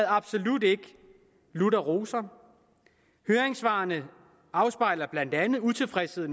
absolut ikke lutter roser høringssvarene afspejler blandt andet utilfredshed